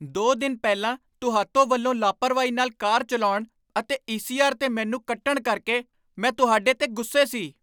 ਦੋ ਦਿਨ ਪਹਿਲਾਂ ਤੁਹਾਤੋ ਵੱਲੋਂ ਲਾਪਰਵਾਹੀ ਨਾਲ ਕਾਰ ਚੱਲਾਉਣ ਅਤੇ ਈ ਸੀ ਆਰ 'ਤੇ ਮੈਨੂੰ ਕੱਟਣ ਕਰਕੇ ਮੈਂ ਤੁਹਾਡੇ 'ਤੇ ਗੁੱਸੇ ਸੀ